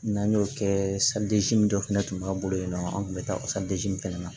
N'an y'o kɛ min dɔ fɛnɛ tun b'an bolo yen nɔ an tun bɛ taa o min fɛnɛ na